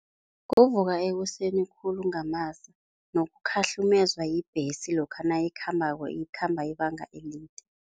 Kuvuka ekuseni khulu kungamasa, nokukhahlumezwa yibhesi lokha nayikhambako, ikhamba ibanga elide.